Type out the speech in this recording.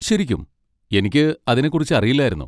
ശരിക്കും! എനിക്ക് അതിനെ കുറിച്ച് അറിയില്ലായിരുന്നു.